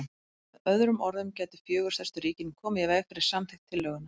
Með öðrum orðum gætu fjögur stærstu ríkin komið í veg fyrir samþykkt tillögunnar.